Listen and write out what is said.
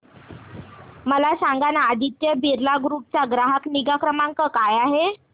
मला सांगाना आदित्य बिर्ला ग्रुप चा ग्राहक निगा क्रमांक काय आहे